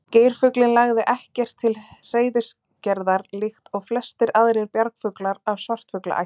Geirfuglinn lagði ekkert til hreiðurgerðar líkt og flestir aðrir bjargfuglar af svartfuglaætt.